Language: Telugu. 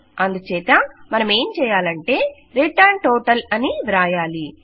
అందుచేత మనమేం చేయాలంటే రిటర్న్ టోటల్ అని వ్రాయాలి